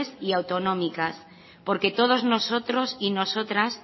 y autonómicas porque todos nosotros y nosotras